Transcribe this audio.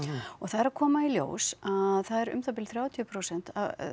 og það er að koma í ljós að það eru um það bil þrjátíu prósent